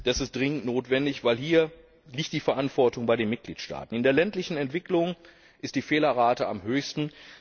Das ist dringend notwendig, weil hier die Verantwortung bei den Mitgliedstaaten liegt. In der ländlichen Entwicklung ist die Fehlerrate am höchsten.